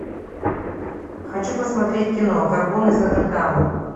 хочу посмотреть кино горбун из нотр дама